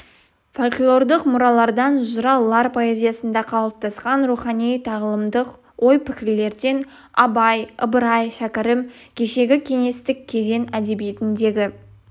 фольклорлық мұралардан жыраулар поэзиясында қалыптасқан рухани тағылымдық ой-пікірлерден абай ыбырай шәкәрім кешегі кеңестік кезең әдебиетіндегі